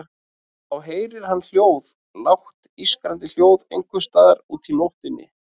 Og þá heyrir hann hljóð, lágt ískrandi hljóð einhvers staðar úti í nóttinni.